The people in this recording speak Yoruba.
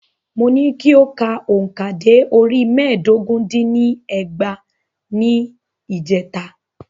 Mo ní kí o ka òǹkà dé orí mẹ́ẹ̀dógún dín ní ẹgbàá ní ìjèta.